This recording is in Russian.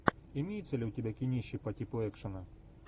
имеется ли у тебя кинище по типу экшена